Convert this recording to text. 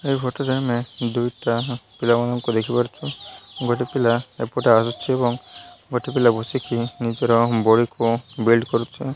ଏଇ ଗୋଟେ ଟାଇମ ରେ ଦୁଇ ଟା ପିଲା ମାନଙ୍କୁ ଦେଖି ପରୁଚି ଗୋଟେ ପିଲା ଏପଟେ ଆସୁଚି ଏବଂ ଗୋଟେ ପିଲା ବସିକି ନିଜର ବଡି କୁ ବେଲ୍ଟ କରୁଛି।